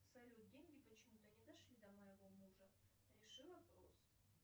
салют деньги почему то не дошли до моего мужа реши вопрос